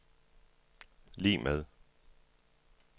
lig med